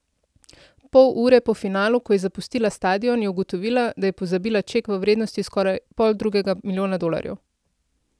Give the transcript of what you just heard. Pol ure po finalu, ko je zapustila stadion, je ugotovila, da je pozabila ček v vrednosti skoraj poldrugega milijona dolarjev.